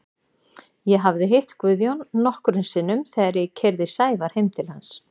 Ég hafði hitt Guðjón nokkrum sinnum þegar ég keyrði Sævar heim til hans.